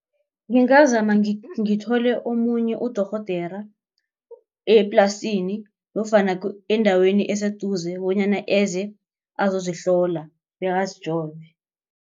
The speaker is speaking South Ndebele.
Ngingazama ngithole omunye udorhodera eplasini nofana endaweni eseduze bonyana eze azozihlola bekazijove.